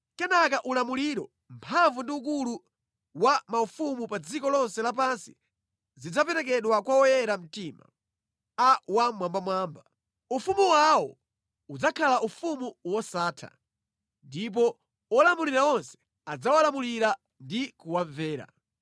Kenaka ulamuliro, mphamvu ndi ukulu wa maufumu pa dziko lonse lapansi zidzaperekedwa kwa oyera mtima, a Wammwambamwamba. Ufumu wawo udzakhala ufumu wosatha, ndipo olamulira onse adzawalamulira ndi kuwamvera.’ ”